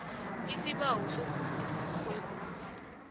isibawo sokuvunywa kwekunzi